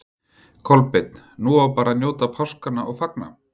Kolbeinn: Nú á bara að njóta páskanna og fagna?